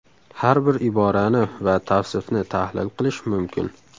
Har bir iborani va tavsifni tahlil qilish mumkin.